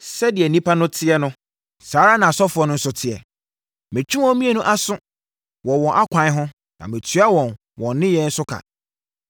Sɛdeɛ nnipa no teɛ no, saa ara na asɔfoɔ no nso teɛ. Metwe wɔn mmienu aso wɔ wɔn akwan ho na matua wɔn wɔn nneyɛeɛ so ka.